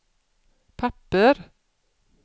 papper